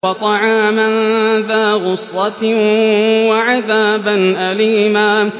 وَطَعَامًا ذَا غُصَّةٍ وَعَذَابًا أَلِيمًا